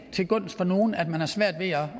til gunst for nogen at man har svært ved at